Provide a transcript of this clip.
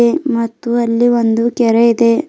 ಮತ್ತು ಅಲ್ಲಿ ಒಂದು ಕೆರೆ ಇದೆ.